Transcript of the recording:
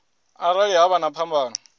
arali ha vha na phambano